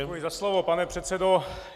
Děkuji za slovo, pane předsedo.